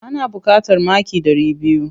Ana buƙatar maki ɗari biyu.